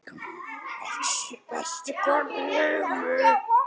Bestu konu í heimi.